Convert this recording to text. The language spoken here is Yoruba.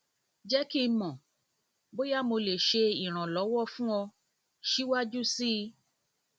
jẹ ki n mọ boya mo le ṣe iranlọwọ fun ọ siwaju sii ọ siwaju sii